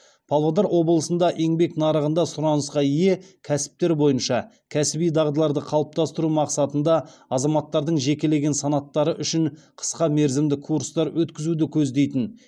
павлодар облысында еңбек нарығында сұранысқа ие кәсіптер бойынша кәсіби дағдыларды қалыптастыру мақсатында азаматтардың жекелеген санаттары үшін қысқа мерзімді курстар өткізуді көздейтін